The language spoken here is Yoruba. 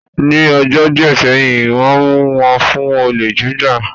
Ní ọjọ́ díẹ̀ sẹ́yìn, Wọ́n mu wọn fún olè jíjà